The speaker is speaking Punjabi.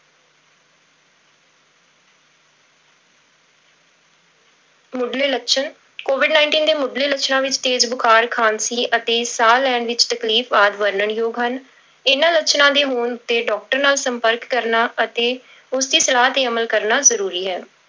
ਮੁੱਢਲੇ ਲੱਛਣ covid nineteen ਦੇ ਮੁੱਢਲੇ ਲੱਛਣਾਂ ਵਿੱਚ ਤੇਜ਼ ਬੁਖਾਰ, ਖ਼ਾਂਸੀ ਅਤੇ ਸਾਹ ਲੈਣ ਵਿੱਚ ਤਕਲੀਫ਼ ਆਦਿ ਵਰਣਨ ਯੋਗ ਹਨ, ਇਹਨਾਂ ਲੱਛਣਾਂ ਦੇ ਹੋਣ ਤੇ doctor ਨਾਲ ਸੰਪਰਕ ਕਰਨਾ ਅਤੇ ਉਸਦੀ ਸਲਾਹ ਤੇ ਅਮਲ ਕਰਨਾ ਜ਼ਰੂਰੀ ਹੈ।